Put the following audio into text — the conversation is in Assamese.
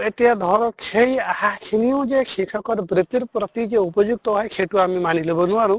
এতিয়া ধৰক সেই আহা খিনিও যে শিক্ষ্কৰ বৃত্তিৰ প্ৰতি যে উপযুক্ত হয় সেইটো আমি মানি লʼব নোৱাৰো।